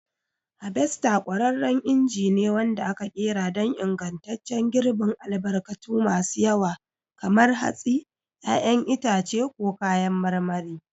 Harvester ƙwararren inji ne wanda aka ƙera don ingantaccen girbin albarkatu masu yawa kamar hatsi, 'ya'yan itace, ko kayan marmari.